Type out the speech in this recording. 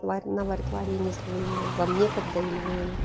ларина варит варенье если мы вам некогда или мы